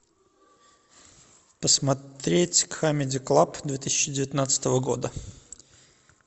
посмотреть камеди клаб две тысячи девятнадцатого года